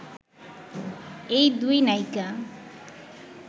এই দুই নায়িকা